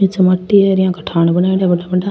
ये मट्टी के थान बनायेदा है बड़ा बड़ा।